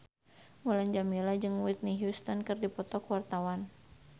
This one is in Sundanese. Mulan Jameela jeung Whitney Houston keur dipoto ku wartawan